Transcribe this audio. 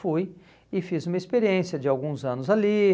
Fui e fiz uma experiência de alguns anos ali.